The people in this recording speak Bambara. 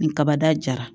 Ni kaba dara